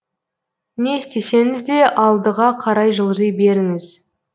не істесеңізде алдыға қарай жылжи беріңіз